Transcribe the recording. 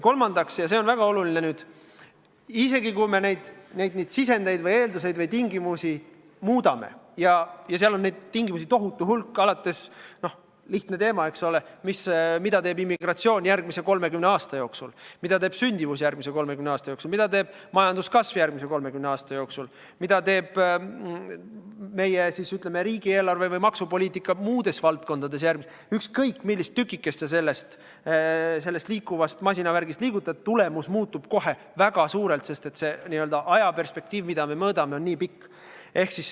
Kolmandaks, ja see on väga oluline: isegi kui me neid sisendeid või eeldusi või tingimusi muudame – ja neid tingimusi on tohutu hulk alates sellest, mida teeb immigratsioon järgmise 30 aasta jooksul, mida teeb sündimus järgmise 30 aasta jooksul, mida teeb majanduskasv järgmise 30 aasta jooksul, mida teeb meie riigieelarve või maksupoliitika muudes valdkondades –, siis ükskõik, millist tükikest selles liikuvas masinavärgis liigutada, muutub tulemus kohe väga suurelt, sest ajaline perspektiiv, mida me mõõdame, on niivõrd pikk.